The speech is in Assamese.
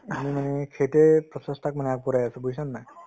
ing আমি মানে সেইটোয়ে প্ৰচেষ্টাক মানে আগবঢ়াই আছো বুজিছানে নাই